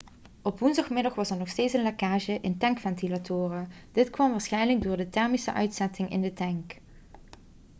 op woensdagmiddag was er nog steeds een lekage in de tankventilatoren dit kwam waarschijnlijk door de thermische uitzetting in de tank